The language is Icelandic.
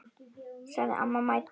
sagði amma mædd.